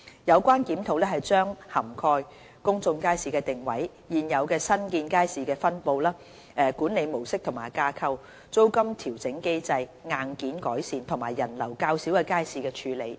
有關檢討將涵蓋公眾街市的定位、現有及新建街市的分布、管理模式及架構、租金調整機制、硬件改善，以及人流較少的街市的處理等。